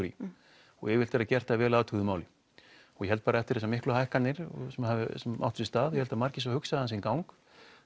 í og yfirleitt er það gert að vel athuguðu máli og ég held bara að eftir þessar miklu hækkanir sem áttu sér stað ég held að margir hafi hugsað sinn gang